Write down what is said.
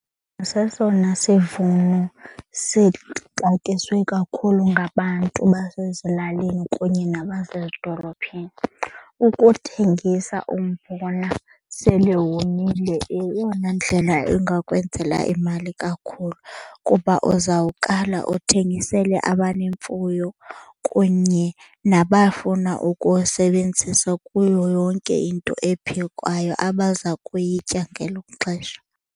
Sesona sivuno sixatyiswe kakhulu ngabantu basezilalini kunye nabasezidolophini. Ukuthengisa umbona sele womile eyona ndlela engakwenzela imali kakhulu kuba uzawukala uthengisele abanemfuyo kunye nabafuna ukuwusebenzisa kuyo yonke into ephekwayo abaza kuyitya ngelo xesha.